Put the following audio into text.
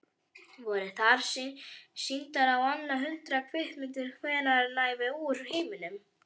Voru þar sýndar á annað hundrað kvikmyndir hvaðanæva úr heiminum.